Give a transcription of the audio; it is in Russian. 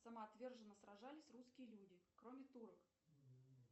самоотверженно сражались русские люди кроме турок